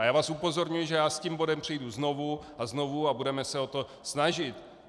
A já vás upozorňuji, že já s tím bodem přijdu znovu a znovu a budeme se o to snažit.